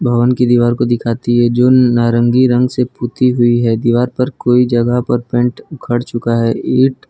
भवन की दीवार को दिखाती है जो नारंगी रंग से पुती हुई है दीवार पर कोई जगह पर पेंट उखड़ चुका है ईंट--